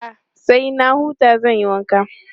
A'a, sai na huta zan yi wanka.